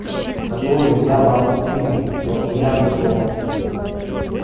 который я вам скинул то что я нашёл